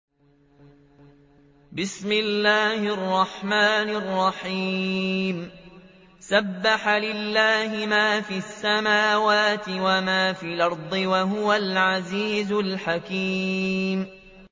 سَبَّحَ لِلَّهِ مَا فِي السَّمَاوَاتِ وَمَا فِي الْأَرْضِ ۖ وَهُوَ الْعَزِيزُ الْحَكِيمُ